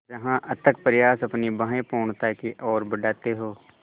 जहाँ अथक प्रयास अपनी बाहें पूर्णता की ओर बढातें हो